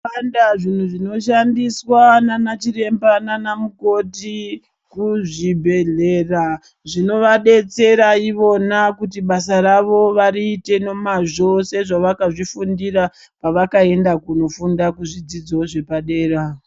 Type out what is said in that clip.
Zvakawanda zvinhu zvinoshandiswa nanachiremba nanamukoti kuzvibhedhlera zvinovadetsera ivona kuti basa ravo variite nomazvo sezvakazvifundira pavakaenda kunofunda kuzvidzidzo zvepadera.